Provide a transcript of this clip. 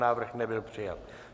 Návrh nebyl přijat.